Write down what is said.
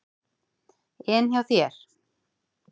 En hjá þér?